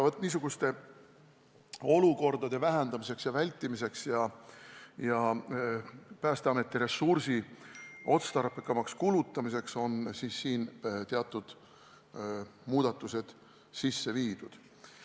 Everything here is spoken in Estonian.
Vaat niisuguste olukordade vältimiseks ja Päästeameti ressursi otstarbekamaks kulutamiseks on teatud muudatused sisse viidud.